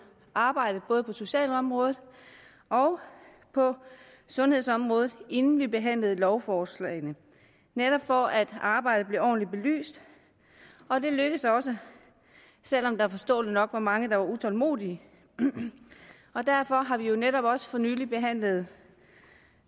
arbejdet både på socialområdet og på sundhedsområdet inden vi behandlede lovforslagene netop for at arbejdet blev ordentligt belyst det lykkedes også selv om der forståeligt nok var mange der var utålmodige derfor har vi netop også for nylig behandlet